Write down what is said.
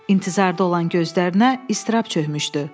İntizarda olan gözlərinə ızdırab çökmüşdü.